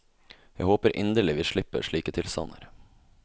Jeg håper inderlig vi slipper slike tilstander.